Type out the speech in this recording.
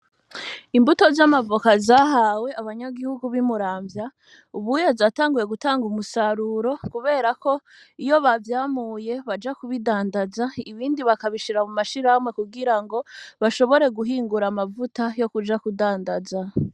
Imbuto z'amavoka zahawe abanyagihugu bi Muramvya ubuye zatanguye gutanga umusaruro kuberako iyo bavyamuye baja kubidandaza ibindi bakabishira mu mashirahamwe ku girango bashobore guhingura amavuta yo kuja kudandaza.